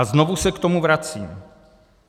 A znovu se k tomu vracím.